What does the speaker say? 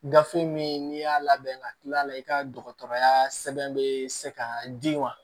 Gafe min n'i y'a labɛn ka tila a la i ka dɔgɔtɔrɔya sɛbɛn bɛ se ka di wa